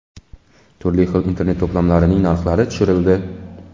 Turli xil Internet-to‘plamlarining narxlari tushirildi.